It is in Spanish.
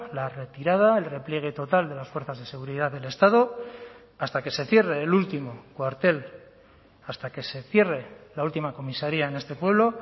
la retirada el repliegue total de las fuerzas de seguridad del estado hasta que se cierre el último cuartel hasta que se cierre la última comisaría en este pueblo